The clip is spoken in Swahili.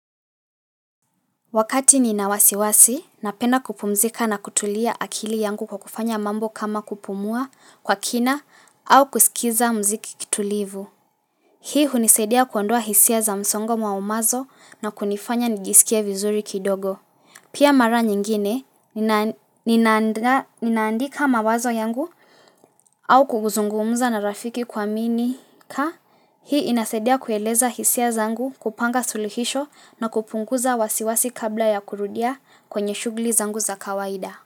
Wakati nina wasiwasi, napenda kupumzika na kutulia akili yangu kwa kufanya mambo kama kupumua kwa kina au kusikiza muziki kitulivu. Hii hunisaidia kuondoa hisia za msongo maumazo na kunifanya nijisikie vizuri kidogo. Pia mara nyingine, ninandaa ninaandika mawazo yangu au kuzungumza na rafiki kuaminika. Hii inasaidia kueleza hisia zangu kupanga suluhisho na kupunguza wasiwasi kabla ya kurudia kwenye shughuli zangu za kawaida.